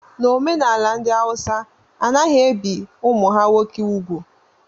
N'omenala ndị Awụsa a naghị ebi ụmụ ha nwoke úgwù